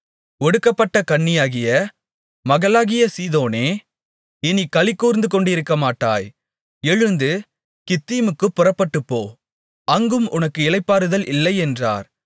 ஒடுக்கப்பட்ட கன்னியாகிய மகளாகிய சீதோனே இனிக் களிகூர்ந்துகொண்டிக்கமாட்டாய் எழுந்து கித்தீமுக்குப் புறப்பட்டுப்போ அங்கும் உனக்கு இளைப்பாறுதல் இல்லையென்றார்